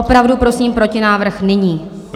Opravdu prosím protinávrh nyní.